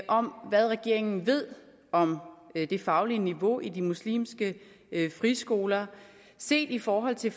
om hvad regeringen ved om det faglige niveau i de muslimske friskoler set i forhold til